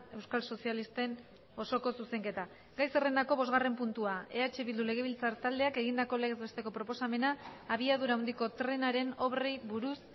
euskal sozialisten osoko zuzenketa gai zerrendako bosgarren puntua eh bildu legebiltzar taldeak egindako legez besteko proposamena abiadura handiko trenaren obrei buruz